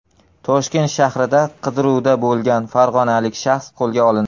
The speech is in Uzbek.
Toshkent shahrida qidiruvda bo‘lgan farg‘onalik shaxs qo‘lga olindi.